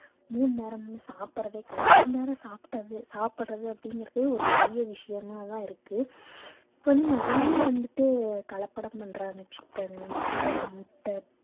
மூணு நேரமும் சாப்பிடுறதே கிடையாது ஒரு நேரம் சாப்பிட்டது சாப்பிடுறது அப்படிங்கிறதே ஒரு பெரிய விஷயமாதான் இருக்கு இப்ப வந்து நிறைய வந்துட்டு கலப்படம் பண்றாங்க chicken mutton முட்டை